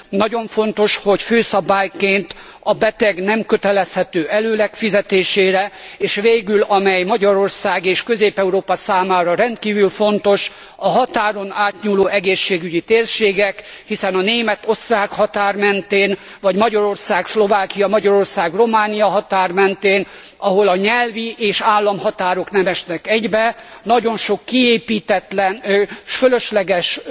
Nagyon fontos, hogy főszabályként a beteg nem kötelezhető előleg fizetésére és végül amely Magyarország és Közép Európa számára rendkívül fontos a határon átnyúló egészségügyi térségek, hiszen a német osztrák határ mentén vagy Magyarország Szlovákia, Magyarország Románia határ mentén, ahol a nyelvi és államhatárok nem esnek egybe, nagyon sok kiépítetlen és fölösleges,